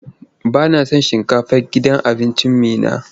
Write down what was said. Ba na son shinkafar gidan abincin Meena.